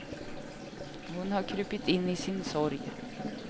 Hon har krupit in i sin sorg.